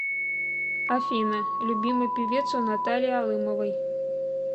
афина любимый певец у натальи алымовой